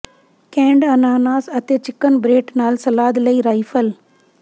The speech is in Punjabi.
ਕੈਨਡ ਅਨਾਨਾਸ ਅਤੇ ਚਿਕਨ ਬ੍ਰੇਟ ਨਾਲ ਸਲਾਦ ਲਈ ਰਾਈਫਲ